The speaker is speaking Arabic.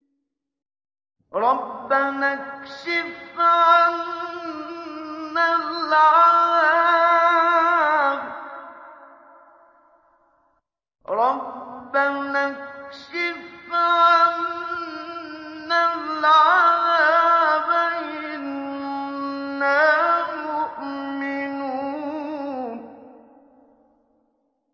رَّبَّنَا اكْشِفْ عَنَّا الْعَذَابَ إِنَّا مُؤْمِنُونَ